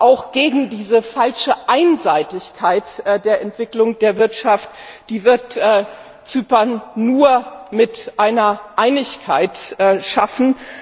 auch entgegen dieser falschen Einseitigkeit der Entwicklung der Wirtschaft, die wird Zypern nur mit einer Einigkeit schaffen.